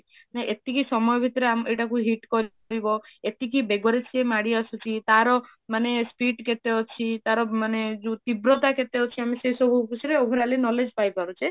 ମାନେ ଏତିକି ସମୟ ଭିତରେ ଏଟାକୁ hit କରିବ ଏତିକି ବେଗରେ ସେ ମାଡି ଆସୁଛି ତାର ମାନେ speed କେତେ ଅଛି ତାର ମାନେ ଯୋଉ ତୀବ୍ରତା କେତେ ଅଛି ଆମେ ସେ ସବୁ ଵିଶେରେ overally knowledge ପାଇ ପାରୁଛେ